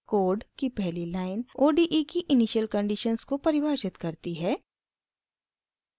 code की पहली line ode की इनिशियल कंडीशन्स को परिभाषित करती है